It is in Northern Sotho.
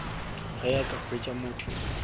ge a ka hwetša motho